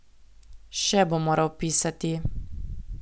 Še bo moral pisati ...